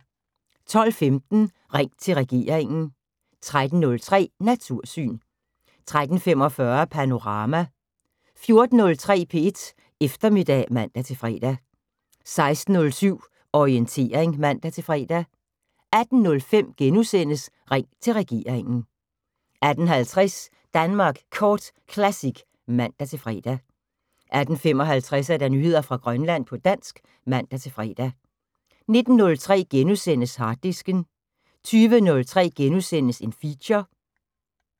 12:15: Ring til regeringen 13:03: Natursyn 13:45: Panorama 14:03: P1 Eftermiddag (man-fre) 16:07: Orientering (man-fre) 18:05: Ring til regeringen * 18:50: Danmark Kort Classic (man-fre) 18:55: Nyheder fra Grønland på dansk (man-fre) 19:03: Harddisken * 20:03: Feature *